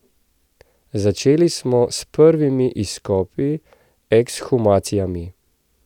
Začeli smo s prvimi izkopi, ekshumacijami.